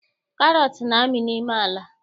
Karọt na-amị n'ime ala